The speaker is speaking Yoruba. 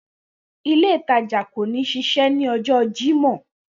Ile itaja ko ni sisi ni ọjọ Jimọ.